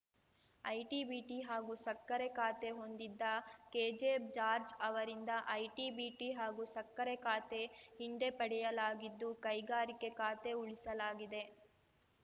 IT BT ಹಾಗೂ ಸಕ್ಕರೆ ಖಾತೆ ಹೊಂದಿದ್ದ ಕೆಜೆ ಜಾರ್ಜ್ ಅವರಿಂದ ಐಟಿಬಿಟಿ ಹಾಗೂ ಸಕ್ಕರೆ ಖಾತೆ ಹಿಂಡೆಪಯಲಾಗಿದ್ದು ಕೈಗಾರಿಕೆ ಖಾತೆ ಉಳಿಸಲಾಗಿದೆ